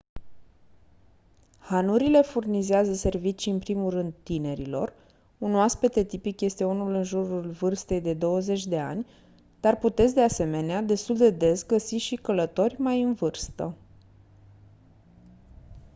hanurile furnizează servicii în primul rând tinerilor un oaspete tipic este unul în jurul vârstei de de douăzeci de ani dar puteți de asemenena destul de des găsi și călători mai în vârstă